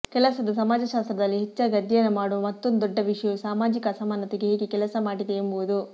ಕೆಲಸದ ಸಮಾಜಶಾಸ್ತ್ರದಲ್ಲಿ ಹೆಚ್ಚಾಗಿ ಅಧ್ಯಯನ ಮಾಡುವ ಮತ್ತೊಂದು ದೊಡ್ಡ ವಿಷಯವು ಸಾಮಾಜಿಕ ಅಸಮಾನತೆಗೆ ಹೇಗೆ ಕೆಲಸ ಮಾಡಿದೆ ಎಂಬುದು